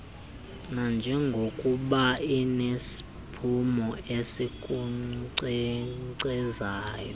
nanjengokuba inesiphumo esikunkcenkcezayo